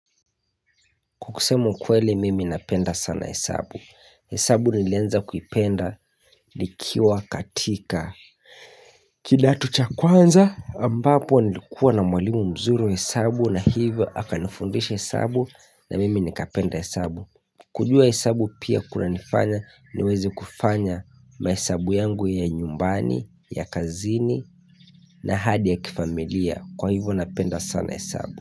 Kwa kusema ukweli mimi napenda sana hesabu, hesabu nilianza kuipenda nikiwa katika kidato cha kwanza ambapo nilikuwa na mwalimu mzuri wa hesabu na hivyo akanifundesha hesabu na mimi nikapenda hesabu kujua hesabu pia kunanifanya niweze kufanya mahesabu yangu ya nyumbani, ya kazini na hadi ya kifamilia kwa hivyo napenda sana hesabu.